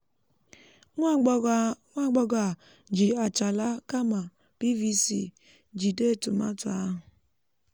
nwá agbọghọ a ji àchàlà kámà piiviicii um jìde tòmátò áhù